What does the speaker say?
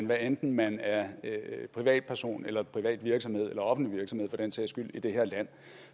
hvad enten man er privatperson eller privat virksomhed eller offentlig virksomhed for den sags skyld i det her land